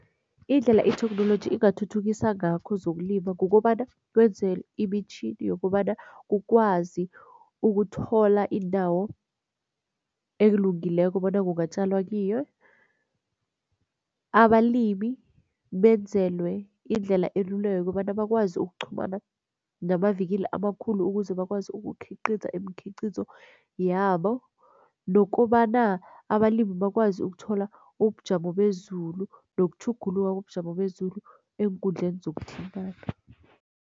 Indlela itheknoloji ingathuthukisa ngakho zokulima kukobana kwenzwe imitjhini yokobana kukwazi ukuthola indawo elungileko bona kungatjalwa kiyo. Abalimi benzelwe indlela elula yokobana bakwazi ukuqhumana namavikili amakhulu ukuze bakwazi ukukhiqikiza imikhiqikizo yabo nokobana abalimi bakwazi ukuthola ubujamo bezulu nokutjhuguluka kobujamo bezulu eenkundleni zokuthintana.